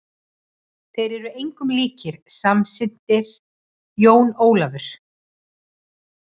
Þeir eru engum líkir, samsinnti Jón Ólafur.